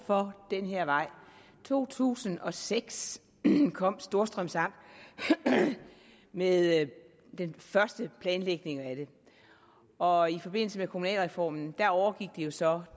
for den her vej i to tusind og seks kom storstrøms amt med den første planlægning af den og i forbindelse med kommunalreformen overgik det jo så